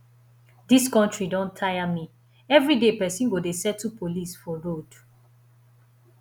dis country don tire me everyday person go dey settle police for road